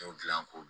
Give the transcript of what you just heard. Dɔw dilan ko